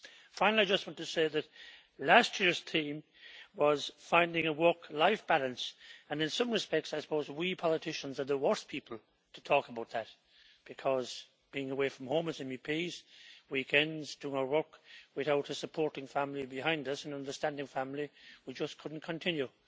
Finally, I just want to say that last year's theme was finding a work life balance. In some respects I suppose that we politicians are the worst people to talk about that, because being away from home, as MEPs, and spending weekends doing our work, without a supporting family behind us an understanding family we just couldn't continue.